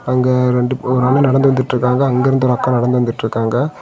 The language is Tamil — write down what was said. அங்க ரெண்டு ஒரு அண்ண நடந்து வந்துட்ருக்காங்க அங்க இருந்து ஒரு அக்கா நடந்து வந்துட்ருக்காங்க.